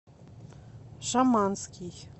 шаманский